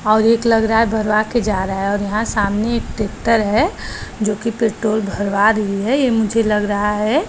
और एक लग रहा है भरवा के जा रहा है और यहाँ सामने एक तितर है जो की पेट्रोल भरवा रही है ये मुझे लग रहा है।